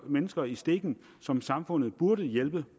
mennesker i stikken som samfundet burde hjælpe